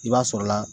I b'a sɔrɔla